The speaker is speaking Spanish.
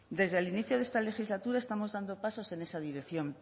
desde el inicio de esta legislatura estamos dando pasos en esa dirección